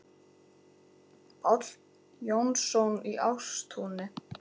Páll Jónsson í Ástúni